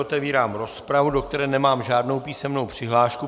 Otevírám rozpravu, do které nemám žádnou písemnou přihlášku.